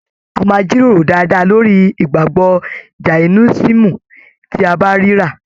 A máa jíròrò dáadáa lórí ìgbàgbọ Jàínisìm tí a bá ríra.